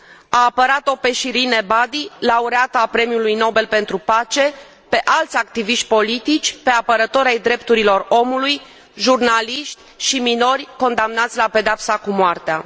A apărat o pe Shirin Ebadi, laureată a Premiului Nobel pentru pace, pe alți activiști politici, pe apărători ai drepturilor omului, jurnaliști și minori condamnați la pedeapsa cu moartea.